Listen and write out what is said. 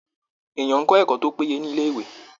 Èèyàn ń kọ ẹkọ tó péye ni ilé ìwé.